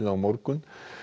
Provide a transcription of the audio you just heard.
morgun